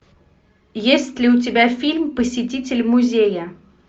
есть ли у тебя фильм посетитель музея